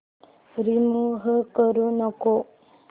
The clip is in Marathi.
रिमूव्ह करू नको